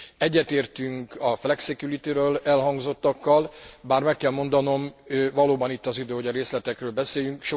Egyetértünk a flexicurity ről elhangzottakkal, bár meg kell mondanom, valóban itt az idő, hogy a részletekről beszéljünk.